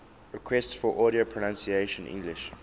requests for audio pronunciation english